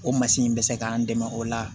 O masi in bɛ se k'an dɛmɛ o la